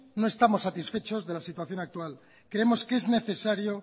no estamos satisfechos de la situación actual creemos que es necesario